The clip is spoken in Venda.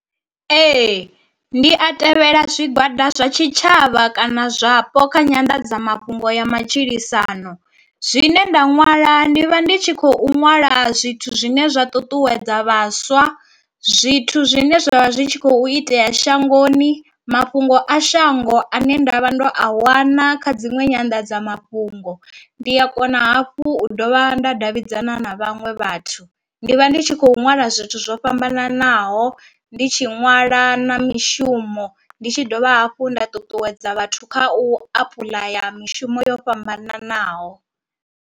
Ee, ndi a tevhela zwigwada zwa tshitshavha kana zwapo kha nyanḓadzamafhungo ya matshilisano, zwine nda nwala ndi vha ndi tshi khou ṅwala zwithu zwine zwa ṱuṱuwedza vhaswa zwithu zwine zwavha zwi kho itea shangoni mafhungo a shango ane ndavha ndo a wana kha dziṅwe nyanḓadzamafhungo. Ndi a kona hafhu u dovha nda davhidzana na vhaṅwe vhathu vhathu ndi vha ndi tshi khou ṅwala zwithu zwo fhambananaho, ndi tshi ṅwala na mishumo ndi tshi dovha hafhu nda ṱuṱuwedza vhathu kha u apuḽaya mishumo yo fhambananaho.